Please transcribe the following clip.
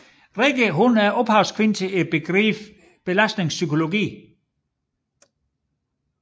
Rikke er ophavskvinden til begrebet belastningspsykologi